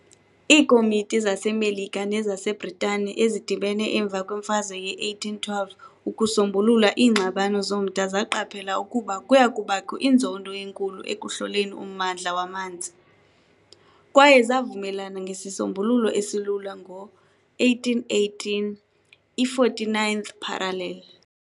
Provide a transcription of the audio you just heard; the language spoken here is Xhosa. Iikomiti zaseMelika nezaseBritane ezidibene emva kweMfazwe ye-1812 ukusombulula iingxabano zomda zaqaphela ukuba kuya kubakho inzondo enkulu ekuhloleni ummandla wamanzi, kwaye zavumelana ngesisombululo esilula ngo -1818 - i-49th parallel.